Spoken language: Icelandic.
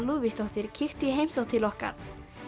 Lúðvíksdóttir kíktu í heimsókn til okkar